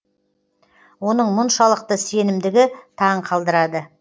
оның мұншалықты сенімдігі таң қалдырады